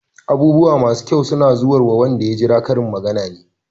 "Abubuwa masu kyau suna zuwarwa wanda ya jira" Karin magana ne.